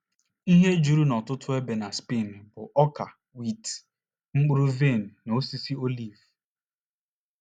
Ihe juru n’ọtụtụ ebe na Spen bụ ọka wit, mkpụrụ vaịn na osisi oliv.